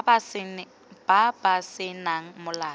ba ba se nang molato